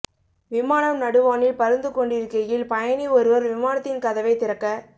விமானம் நடுவானில் பறந்து கொண்டிருக்கையில் பயணி ஒருவர் விமானத்தின் கதவை திறக்க